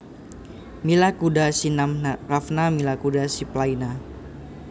Mila kuda si nam ravna Mila kuda si planina